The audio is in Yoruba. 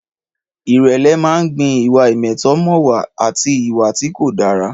Ìrẹ̀lẹ̀ máa ń gbin ìwà ìmẹ̀tọ́mọ̀wà àti ìwà tí kò dára.